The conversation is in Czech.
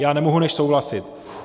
Já nemohu než souhlasit.